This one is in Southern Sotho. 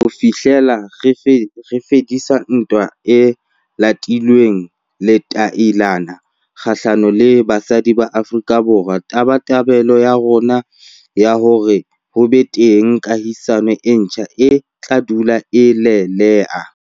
Ho fi hlela re fedisa ntwa e latilweng letailana kgahlanong le basadi ba Afrika Borwa, tabatabelo ya rona ya hore ho be teng kahisano e ntjha e tla dula e le lelea.